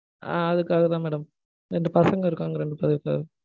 ஆஹ் அதுக்காக தான் madam. ரெண்டு பசங்க இருக்காங்க. ரெண்டு பேருக்கு,